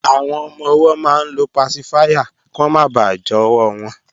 Àwọn ọmọ-ọwọ́ máa ń lo pasifáyà kí wọ́n máa bà jọwọ́ wọn